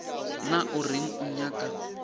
na o reng o nyaka